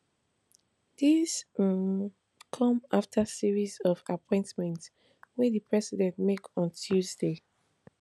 dis um come afta series of appointments wey di president make on tuesday